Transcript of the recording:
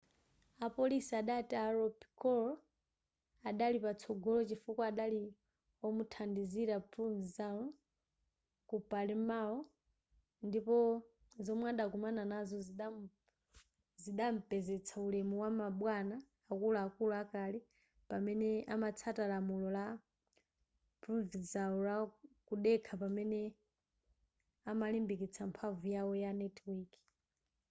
apolisi adati a lo piccolo adali patsogolo chifukwa adakhala omuthandizira provenzano ku palermo ndipo zomwe adakumana nazo zidampezetsa ulemu wama bwana akuluakulu akale pamene amatsata lamulo la provenzano la kudekha pamene amalimbikitsa mphamvu yawo ya netiweki